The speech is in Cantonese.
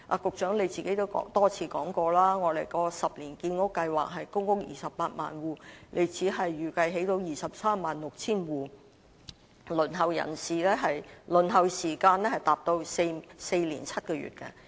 局長也多次說過，我們的10年建屋計劃是興建公屋 280,000 戶，他預計只能興建 236,000 戶，輪候時間達到4年7個月。